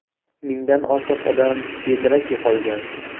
Mingdan ortiq odam bedarak yo‘qolgan.